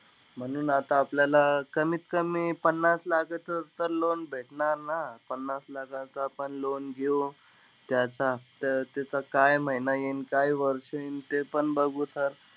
म्हणून आता आपल्याला कमीत कमी पन्नास लाखाचा तर loan भेटणार ना. पन्नास लाखाचं आपण loan घेऊ. त्याचं हफ्ता, त्याचं काय महिना येईन, काय वर्ष येईन? तेपण बघू sir.